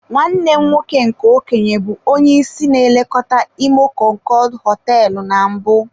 Nwanne m nwoke nke okenye bụ onye isi na-elekọta imo konkood hoteelu na mbụ.